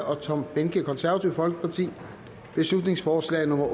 og tom behnke beslutningsforslag nummer